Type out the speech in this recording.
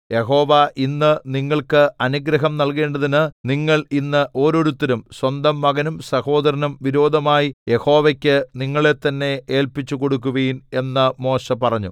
യഹോവ ഇന്ന് നിങ്ങൾക്ക് അനുഗ്രഹം നല്കേണ്ടതിന് നിങ്ങൾ ഇന്ന് ഓരോരുത്തനും സ്വന്തം മകനും സഹോദരനും വിരോധമായി യഹോവയ്ക്ക് നിങ്ങളെ തന്നേ ഏല്പിച്ചുകൊടുക്കുവിൻ എന്ന് മോശെ പറഞ്ഞു